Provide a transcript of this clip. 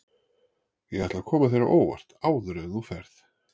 Ég ætla að koma þér á óvart áður en þú ferð.